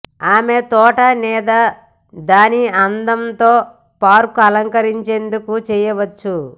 ఆమె తోట లేదా దాని అందం తో పార్క్ అలంకరించేందుకు చేయవచ్చు